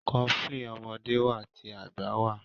cofflin ọmọdé wá tí àgbà wá.